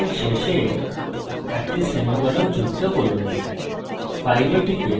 স্টেটমেন্টের শেষে একটি semicolon যুক্ত করুন